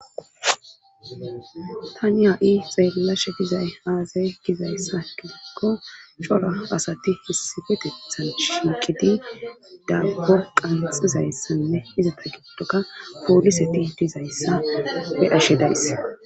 tani ha7i xeellashe dizay aazay gizayssa gidikko shora asati fisifetethan shinqidi da gorqanxizayssanne izata giddoka pooliseti dizayssa we ashe days